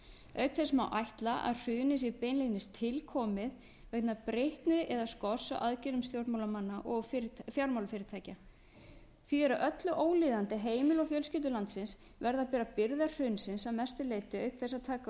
þess má ætla að hrunið sé beinlínis tilkomið vegna breytni eða skorts á aðgerðum stjórnmálamanna og fjármálafyrirtækja því er með öllu ólíðandi að heimili og fjölskyldur landsins verði að bera byrðar hrunsins að mestu leyti auk þess að taka á